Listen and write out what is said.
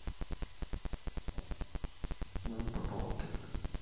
ashe oleng itegelua aisoma tenebo o yiok, kaarewaki mpala nimput pooki